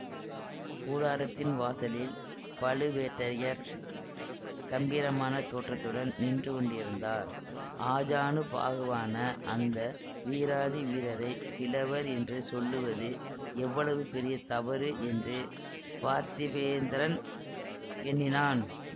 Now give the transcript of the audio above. கூடாரத்தின் வாசலில் பழுவேட்டரையர் கம்பீரமான தோற்றத்துடன் நின்று கொண்டிருந்தார் ஆஜானுபாகுவான அந்த வீராதி வீரரை கிழவர் என்று சொல்லுவது எவ்வளவு பெரிய தவறு என்று பார்த்திபேந்திரன் எண்ணினான்